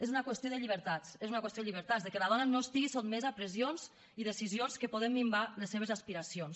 és una qüestió de llibertats és una qüestió de llibertats de que la dona no estigui sotmesa a pressions i decisions que poden minvar les seves aspiracions